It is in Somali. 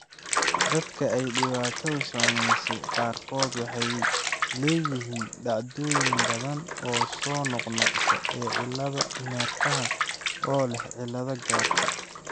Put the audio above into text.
Dadka ay dhibaatadu saameysey qaarkood waxay leeyihiin dhacdooyin badan oo soo noqnoqda ee cilladaha neerfaha oo leh cillad garasho.